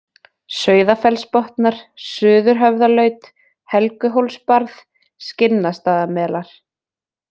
Sauðafellsbotnar, Suðurhöfðalaut, Helguhólsbarð, Skinnastaðamelar